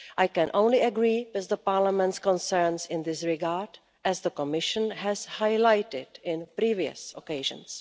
I can only agree with Parliament's concerns in this regard, as the Commission has highlighted on previous occasions.